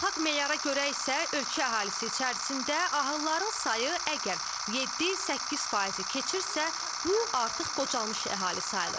Beynəlxalq meyara görə isə ölkə əhalisi içərisində ahılların sayı əgər 7-8% keçirsə, bu artıq qocalmış əhali sayılır.